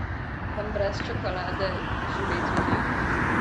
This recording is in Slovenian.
Vam brez čokolade živeti ni?